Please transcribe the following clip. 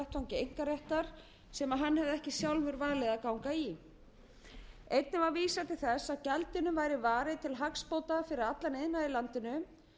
einkaréttar sem hann hefði ekki sjálfur valið að ganga í einnig var vísað til þess að gjaldinu væri varið til hagsbóta fyrir allan iðnað í landinu